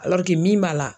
min b'a la